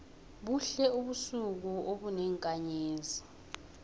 buhle ubusuku obenenkanzezi